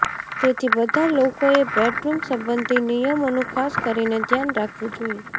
તેથી બધા લોકોએ બેડરૂમ સંબંધી નિયમોનું ખાસ કરીને ધ્યાન રાખવું જોઈએ